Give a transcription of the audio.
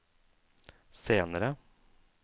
senere